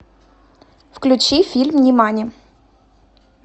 включи фильм нимани